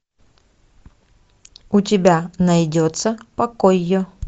у тебя найдется покой